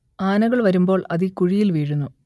ആനകൾ വരുമ്പോൾ അത് ഈ കുഴിയിൽ വീഴുന്നു